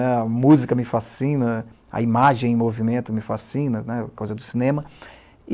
A música me fascina, a imagem e o movimento me fascinam, por causa do cinema.